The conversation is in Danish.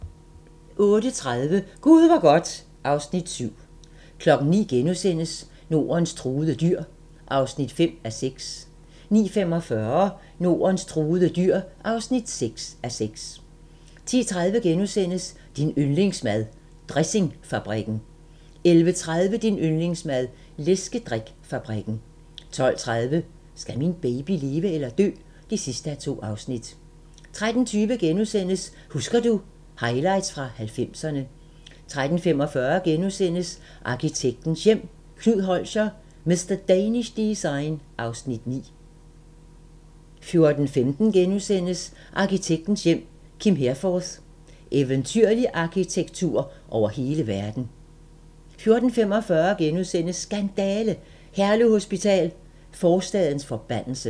08:30: Gud hvor godt (Afs. 7) 09:00: Nordens truede dyr (5:6)* 09:45: Nordens truede dyr (6:6) 10:30: Din yndlingsmad: Dressingfabrikken * 11:30: Din yndlingsmad: Læskedrik-fabrikken 12:30: Skal min baby leve eller dø? (2:2) 13:20: Husker du - Highlights fra 90'erne * 13:45: Arkitektens Hjem: Knud Holscher – "Mr. Danish Design" (Afs. 9)* 14:15: Arkitektens Hjem: Kim Herforth – "Eventyrlig arkitektur over hele verden". 14:45: Skandale! - Herlev Hospital: forstadens forbandelse *